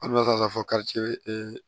A bɛna se ka fɔ karice